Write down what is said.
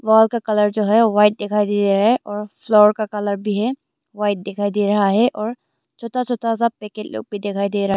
wall का colour जो है वाइट दिखाई दे रहा है और फ्लोर का कलर भी है वाइट दिखाई दे रहा है और छोटा छोटा सा पैकेट लोग भी दिखाई दे रहा--